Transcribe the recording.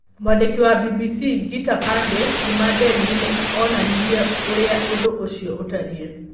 Mwandĩki wa BBC Geeta Pandey kuuma Delhi nĩ onanirie ũrĩa ũndũ ũcio ũtariĩ.